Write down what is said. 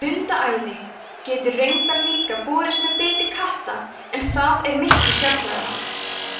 hundaæði getur raunar líka borist með biti katta en það er miklu sjaldgæfara